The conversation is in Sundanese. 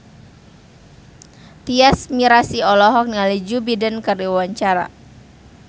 Tyas Mirasih olohok ningali Joe Biden keur diwawancara